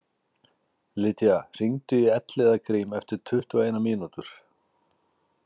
Lydia, hringdu í Elliðagrím eftir tuttugu og eina mínútur.